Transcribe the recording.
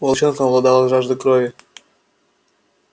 волчонком овладала жажда крови